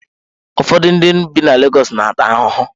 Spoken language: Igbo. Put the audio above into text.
Ụfọdụ ndị bi na Legọs na-ata ahụhụ.